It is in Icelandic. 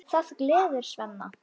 Það gleður Svenna.